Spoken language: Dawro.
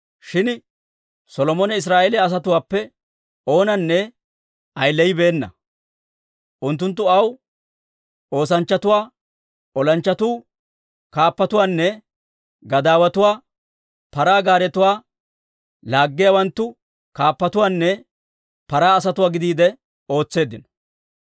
Shin Solomone Israa'eeliyaa asatuwaappe oonanne ayileyibeena; unttunttu aw oosanchchatuwaa, olanchchatuwaa, olanchchatuu kaappatuwaanne gadaawatuwaa, paraa gaaretuwaa laaggiyaawanttu kaappatuwaanne paraa asatuwaa gidiide ootseeddino.